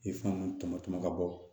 E fɛn nunnu tɔmɔ tɔmɔ ka bɔ